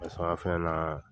Fɛn na